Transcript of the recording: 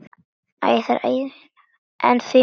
En því miður.